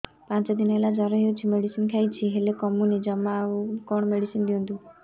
ପାଞ୍ଚ ଦିନ ହେଲା ଜର ହଉଛି ମେଡିସିନ ଖାଇଛି ହେଲେ କମୁନି ଜମା ଆଉ କଣ ମେଡ଼ିସିନ ଦିଅନ୍ତୁ